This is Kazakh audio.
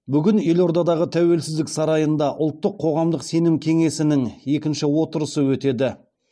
бүгін елордадағы тәуелсіздік сарайында ұлттық қоғамдық сенім кеңесінің екінші отырысы өтеді